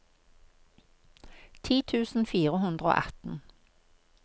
ti tusen fire hundre og atten